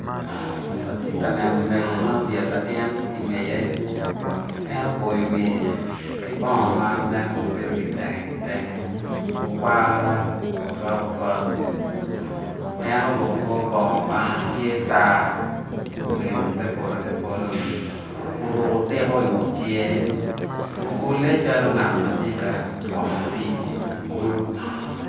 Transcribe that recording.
Atye ka neno mego ma obyelo latin i ngeye en oboyo wiye ki bongo ma nen obedo kitenge kitenge okwara ocwak ocwak en oruko kor bongo ma tye tar obedo te polo te polo oruko tiko i ngut cinge okule calo ngat ti ka twomo pii i kulo